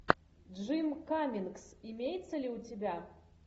джим каммингс имеется ли у тебя